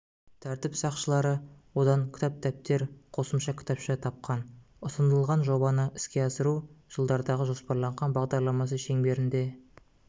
тәртіп сақшылары одан кітап дәптер қосымша кітапша тапқан ұсынылған жобаны іске асыру жылдарға жоспарланған бағдарламасы шеңберінде